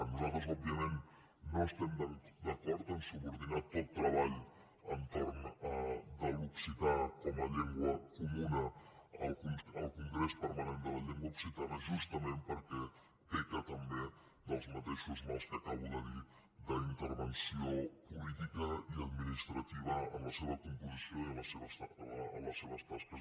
nosaltres òbviament no estem d’acord a subordinar tot treball entorn de l’occità com a llengua comuna al congrés permanent de la llengua occitana justament perquè peca també dels mateixos mals que acabo de dir d’intervenció política i administrativa en la seva composició i en les seves tasques